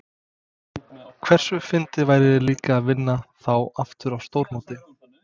Hversu fyndið væri líka að vinna þá aftur á stórmóti?